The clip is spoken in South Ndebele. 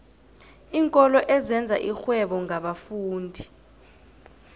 iinkolo ezenza irhwebo ngabafundi